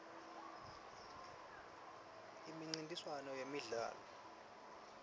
imincintiswano yemidlalo